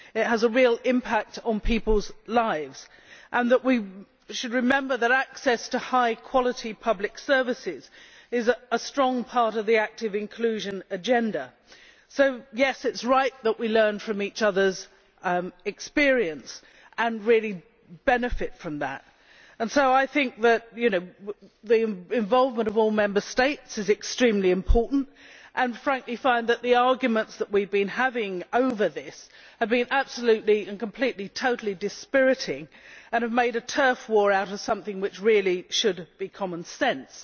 This has a real impact on people's lives. We should remember that access to high quality public services is a strong part of the active inclusion agenda, so it is right that we learn from each other's experience and really benefit from that. I think that the involvement of all Member States is extremely important and, frankly, I find that the arguments that we have been having over this have been totally dispiriting. We have made a turf war out of something which really should be common sense,